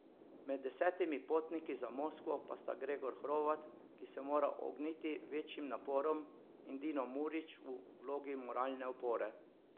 Med desetimi potniki za Moskvo pa sta Gregor Hrovat, ki se mora ogniti večjim naporom, in Dino Murić v vlogi moralne opore.